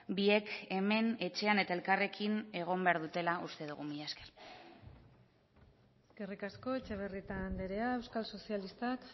biek hemen etxean eta elkarrekin egon behar dutela uste dugu mila esker eskerrik asko etxebarrieta andrea euskal sozialistak